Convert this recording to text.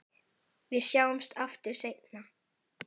Við sjáumst aftur seinna.